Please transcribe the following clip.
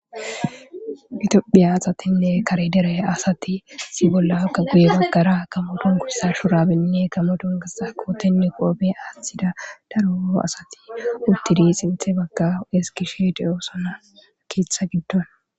Itophiya asatinne kare dere asati si bollaakka guye baggara kamoton kursa shurabinne kamoton gassa kootenne qoobe aaththida daro asati uttidi xinthe bagga eskishe deyosona kietha giddon.